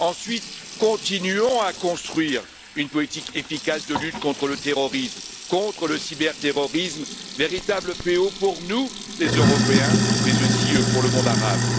Ensuite, continuons à construire une politique efficace de lutte contre le terrorisme, contre le cyberterrorisme, véritable fléau pour nous, les Européens, mais aussi pour le monde arabe.